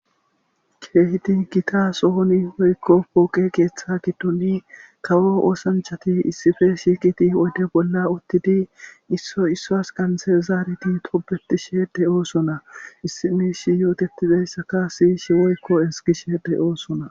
keehidi gita sohoni woykko pooqe keeththa gidduni kawo oosanchati issife shiiqiti wode bolla uttidi isso issas qansezaareti tobetishe de'oosona issinishi yootetizayssaka siyishe woykko ezgishe de'oosona